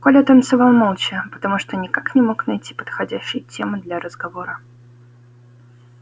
коля танцевал молча потому что никак не мог найти подходящей темы для разговора